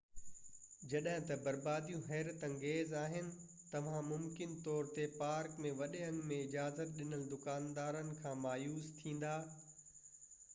جڏهن ته برباديون حيرت انگيز آهن توهان ممڪن طور تي پارڪ ۾ وڏي انگ ۾ اجازت ڏنل دڪاندارن کان مايوس ٿيندا